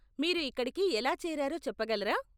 మీరు ఇక్కడకి ఎలా చేరారో చెప్పగలరా?